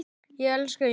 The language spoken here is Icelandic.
Ég elska jólin!